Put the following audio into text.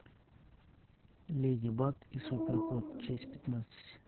леди баг и супер кот часть пятнадцать